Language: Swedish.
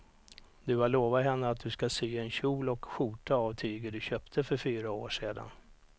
Du har lovat henne att du ska sy en kjol och skjorta av tyget du köpte för fyra år sedan.